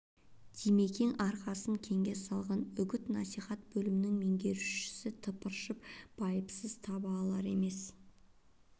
димекең арқасын кеңге салғанмен үгіт-насихат бөлмнң меңгерушісі тыпыршып байыз таба алар емес